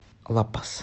ла пас